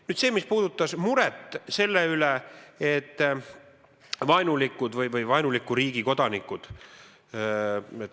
Nüüd see, mis puudutas muret selle üle, et tegemist on vaenulike või vaenuliku riigi kodanikega.